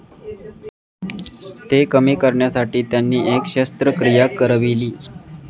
ते कमी करण्यासाठी त्यांनी एक शस्त्रक्रिया करविली.